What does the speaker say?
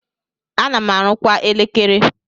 Ana m arụkwa elekere.